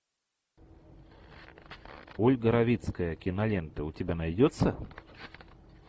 ольга равицкая кинолента у тебя найдется